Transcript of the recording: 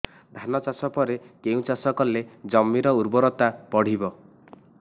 ଧାନ ଚାଷ ପରେ କେଉଁ ଚାଷ କଲେ ଜମିର ଉର୍ବରତା ବଢିବ